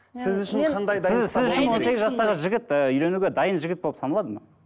сіз үшін қандай сіз сіз үшін он сегіз жастағы жігіт ііі үйленуге дайын жігіт болып саналады ма